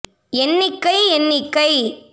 எண்ணிக்கை எண்ணிக்கை